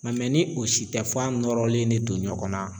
Nga ni o si tɛ f'a nɔrɔlen de don ɲɔgɔnna